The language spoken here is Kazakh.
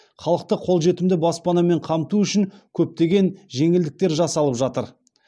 халықты қолжетімді баспанамен қамту үшін көптеген жеңілдіктер жасалып жатыр